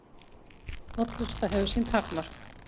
Hollusta hefur sín takmörk